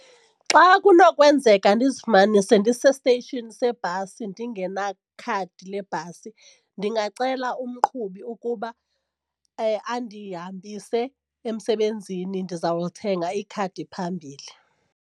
Xa kunokwenzeka ndizifumanise ndise-station sebhasi ndingenakhadi lebhasi ndingacela umqhubi ukuba andihambise emsebenzini ndizawulithenga ikhadi phambili.